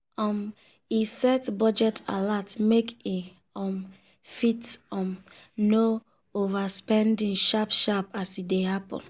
um e set budget alert make e um fit um know overspending sharp sharp as e dey happen.